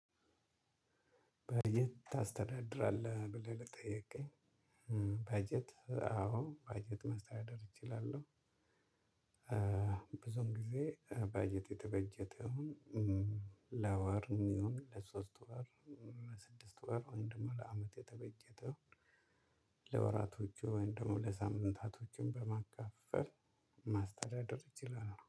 ባጀት ታስተዳድራለህ? ብለህ ለጠየከኝ ባጀት አዎ ባጀት ማስተዳደር እችላለሁ። ብዙን ጊዜ ባጀቱ የተበጀተው እ ለወር የሚሆን ለሳስት ወር ለስድስት ወር ወይም ደግሞ ለአመት ነተበጀቸው ለወራቶቹ ወይም ደግሞ ለሳምንታቶችም በማካፈል ማስተዳደር ይችላሉ።